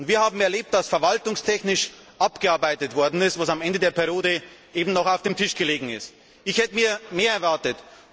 Wir haben erlebt, dass verwaltungstechnisch abgearbeitet wurde, was am Ende der Amtszeit eben noch auf dem Tisch gelegen ist. Ich hätte mir mehr erwartet!